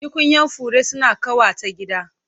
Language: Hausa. Tukunyan fure suna ƙawata gida.